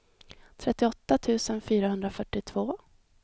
trettioåtta tusen fyrahundrafyrtiotvå